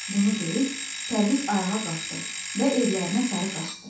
Bunu deyib, Pərviz ayağa qalxdı və evlərinə sarı qaçdı.